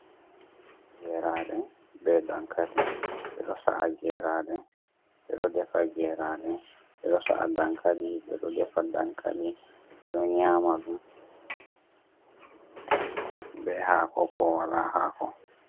Geeraaɗe bee dankali, ɓe ɗo sa'a geeraaɗe ɓe ɗo defa geeraaɗe, ɓe ɗo sa’a dankali, ɓe ɗo defa dankali, ɓe ɗo nyaama ɗum bee haako koo walaa haako.